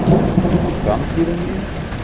Framtíðin mín?